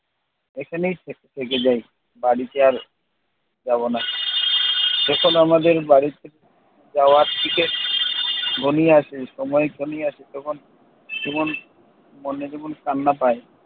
এখানেই থে থেকে যাই। বাড়িতে আর যাবো না। এখন আমাদের বাড়িতে যাওয়ার টিকিট ঘনিয়ে আসে, সময় ঘনিয়ে আসে তখন তেমন মনে কেমন কান্না পায়।